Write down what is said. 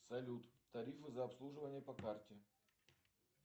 салют тарифы за обслуживание по карте